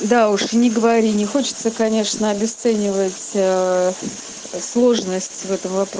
да уж и не говори не хочется конечно обесценивать ээ сложность этого вопро